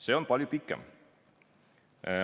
See aeg on palju pikem.